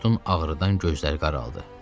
Akutun ağrıdan gözləri qaraldı.